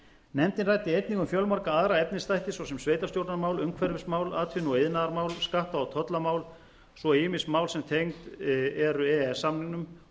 nefndin ræddi einnig um fjölmarga aðra efnisþætti svo sem sveitarstjórnarmál umhverfismál atvinnu og iðnaðarmál skatta og tollamál svo og ýmis mál sem tengd eru e e s samningnum